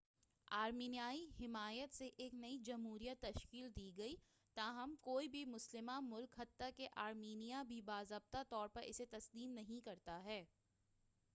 آرمینیائی حمایت سے ایک نئی جمہوریہ تشکیل دی گئی تاہم کوئی بھی مسلمہ ملک حتی کہ آرمینیا بھی باضابطہ طور پر اسے تسلیم نہیں کرتا ہے